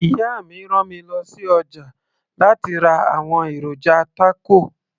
ìyá mi rán mi lọ sí ọjà láti ra àwọn èròjà tákò